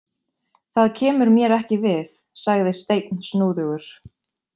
Það kemur mér ekki við, sagði Steinn snúðugur.